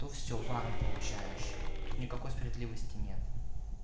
то всё вам получаешь тут никакой справедливости нет